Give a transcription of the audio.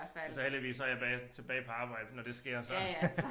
Og så heldigvis så jeg bage tilbage på arbejde når det sker så